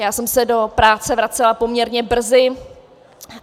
Já jsem se do práce vracela poměrně brzy.